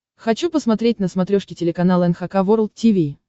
хочу посмотреть на смотрешке телеканал эн эйч кей волд ти ви